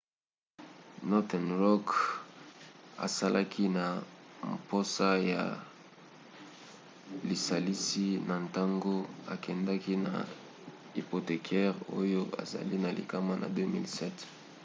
northern rock azalaki na mposa ya lisalisi na ntango akendaki na hypothécaires oyo ezali na likama na 2007